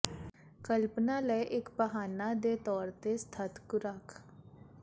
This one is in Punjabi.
ਕਲਪਨਾ ਲਈ ਇੱਕ ਬਹਾਨਾ ਦੇ ਤੌਰ ਤੇ ਸਖਤ ਖੁਰਾਕ